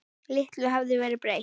Litlu hafði verið breytt.